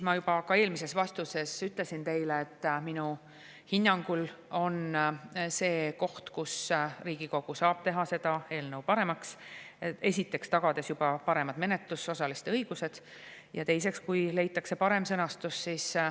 Ma juba eelmises vastuses ütlesin teile, et minu hinnangul see on see koht, kus Riigikogu saab teha seda eelnõu paremaks: esiteks tagada paremad menetlusosaliste õigused ja teiseks leida parem sõnastus.